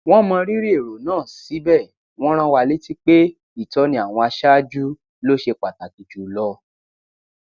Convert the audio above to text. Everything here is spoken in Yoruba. wọn mọ rírì èrò náà síbẹ wọn rán wa létí pé ìtọni àwọn aṣáájú ló ṣe pàtàkì jùlọ